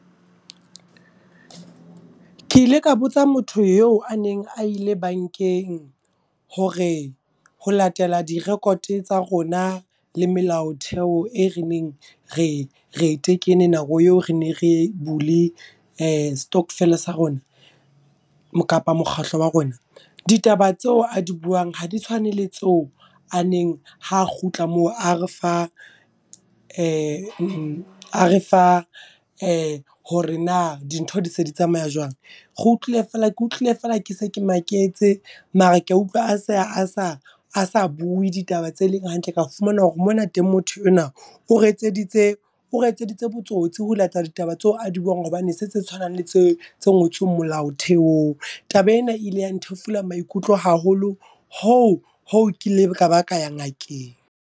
Ke ile ka botsa motho eo a neng a ile bankeng. Hore ho latela di-record tsa rona le melaotheo e re neng re re e tekene nako eo re ne re bule stockvel sa rona, kapa mokgatlo wa rona. Ditaba tseo a di buang ha di tshwane le tseo a neng ha kgutla moo a re fa hore na dintho di se di tsamaya jwang. Re utlwile feela ke utlwile fela ke se ke maketse, mara ka utlwa a se a sa bue ditaba tse leng hantle. Ka fumana hore mona teng motho enwa o re etseditse ore etseditse botsotsi ho latela ditaba tseo a di buang. Hobane ha se tse tshwanang le tse tse ngotsweng molaotheong. Taba ena e ile ya nthefula maikutlo haholo, hoo hoo kileng kaba ka ya ngakeng.